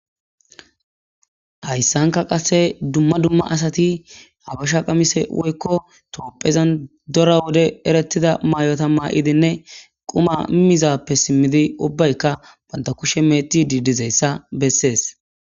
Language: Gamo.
Hayisanka qasi duma duma asati habasha qamise woyiko tophezan daro wode eretida mayota mayidinne qumadappe simidi ubayika bantha kushe mec,etizayisa besees